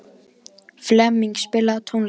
Flemming, spilaðu tónlist.